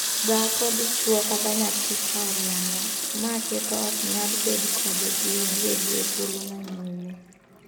Dhako, dichwo, kata nyathi ka oriambo, maa keto ok nyal bed kode gi adieri e thuolo ma nyime.